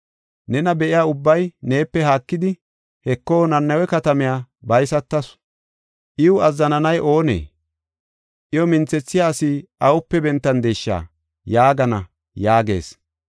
Nena be7iya ubbay neepe haakidi, ‘Heko, Nanawe katamay baysatis; iyaw azzananay oonee? Iya minthethiya asi awupe bentandesha?’ yaagana” yaagees.